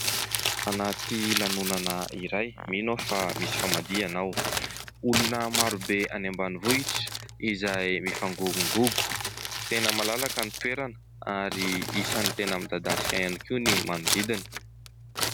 Anaty lanonana iray. Mino aho fa misy famadihana ao. Olona maro be any ambanivohitra izay movangongongongo. Tena malalaka ny toerana ary isany tena midadasika ihany koa ny manodidina.